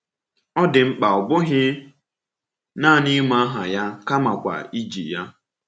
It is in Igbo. Ọ dị mkpa ọ bụghị naanị ịma aha ahụ kamakwa iji ya.